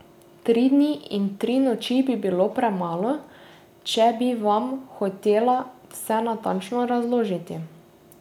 Tri dni in tri noči bi bilo premalo, če bi Vam hotela vse natanko razložiti.